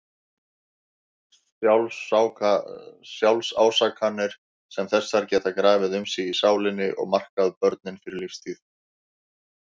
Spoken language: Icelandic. Sjálfsásakanir sem þessar geta grafið um sig í sálinni og markað börnin fyrir lífstíð.